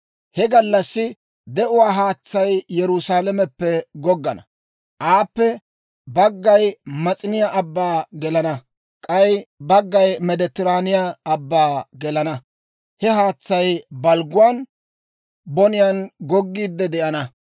He gallassi de'uwaa haatsay Yerusaalameppe goggana; aappe baggay Mas'iniyaa Abban gelana; k'ay baggay Meediteraane Abban gelana. He haatsay balgguwaan boniyaan goggiidde de'ana.